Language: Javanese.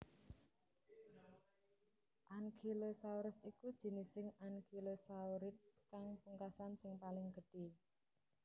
Ankylosaurus iku jinising ankylosaurids kang pungkasan sing paling gedhé